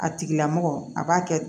A tigila mɔgɔ a b'a kɛ